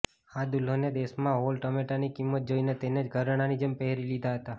આ દુલ્હને દેશમાં હાલ ટમેટાંની કિંમત જોઈને તેને જ ઘરેણાંની જેમ પહેરી લીધા હતાં